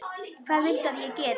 Hvað viltu að ég geri?